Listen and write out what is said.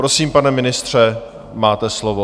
Prosím, pane ministře, máte slovo.